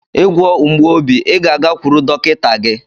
I gwọọ mgbu obi, ị ga-agakwuru dọkịta gị.